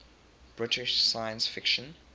british science fiction